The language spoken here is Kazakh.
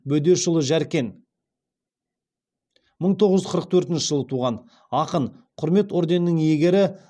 бөдешұлы жәркен мың тоғыз жүз қырық төртінші жылы туған ақын құрмет орденінің иегері